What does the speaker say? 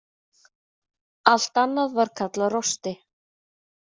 Allt annað var kallað rosti.